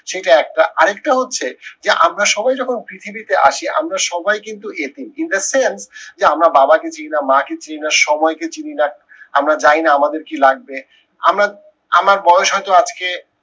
সেইটা একটা আর একটা হচ্ছে, যে আমরা সবাই যখন পৃথিবীতে আসি আমরা সবাই কিন্তু এতিম in the sense যে আমরা বাবা কে চিনি না মা কে চিনি না সময়কে চিনি না আমরা জানি না আমাদের কি লাগবে আমার আমার বয়স হয়তো আজকে,